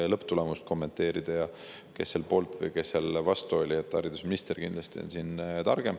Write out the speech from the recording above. Lõpptulemuse kommenteerimisel, kes seal poolt või kes vastu oli, on haridusminister kindlasti targem.